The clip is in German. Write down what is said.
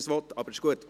– Das ist der Fall.